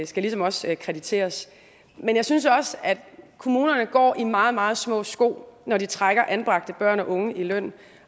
skal ligesom også krediteres men jeg synes også at kommunerne går i meget meget små sko når de trækker anbragte børn og unge i løn